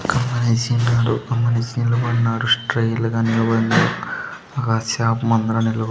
ఒక్క మనిషి ఉన్నాడు ఆ మనిషి నిలబడినరు స్టైల్ గా నిలబడినరు ఒక్క షాప్ ముందర నిలబ --